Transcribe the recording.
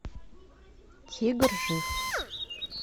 тигр жив